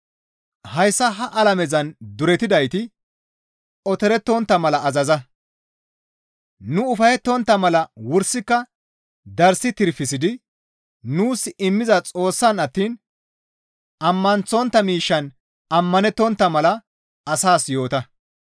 Hayssa ha alamezan duretidayti otorettontta mala azaza; nu ufayettana mala wursika darssi tirfisidi nuus immiza Xoossaan attiin ammanththontta miishshaan ammanettontta mala asaas yoota.